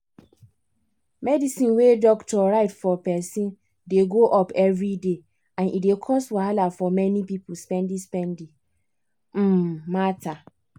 medicine wey doctor write for person dey go-up everyday and e dey cos wahala for many people spendi-spendi um matter.